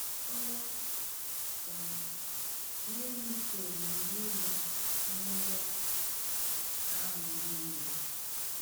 Ò um meghị ka o gburu Uriah n’ụgbọ agha ndị iro?